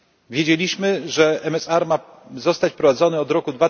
Wiedzieliśmy, że MSR ma zostać wprowadzony od roku